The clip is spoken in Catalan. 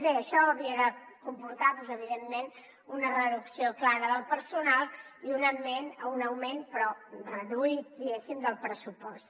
bé això havia de comportar doncs evidentment una reducció clara del personal i un augment però reduït diguem ne del pressupost